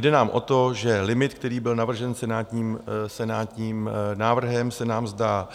Jde nám o to, že limit, který byl navržen senátním návrhem, se nám zdá